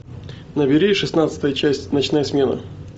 набери шестнадцатая часть ночная смена